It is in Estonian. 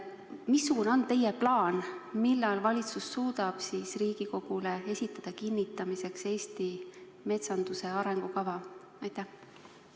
Missugune on teie plaan, millal valitsus suudab Riigikogule kinnitamiseks esitada Eesti metsanduse arengukava?